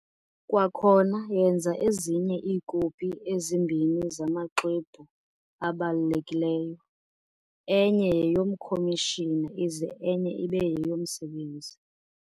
Kwakhona yenza ezinye iikopi ezimbini zamaxwebhu abalulekileyo, enye yeyomkhomishina ize enye ibe yeyomsebenzi.